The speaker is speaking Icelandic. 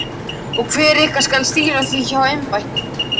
Og hver ykkar skal stýra því háa embætti?